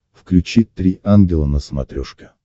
включи три ангела на смотрешке